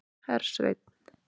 Hersveinn